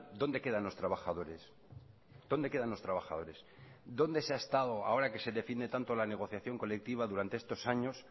dónde quedan los trabajadores dónde quedan los trabajadores dónde se ha estado ahora que se define tanto la negociación colectiva durante estos años